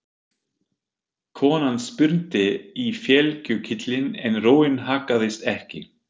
Konan spyrnti í felgulykilinn en róin haggaðist ekki.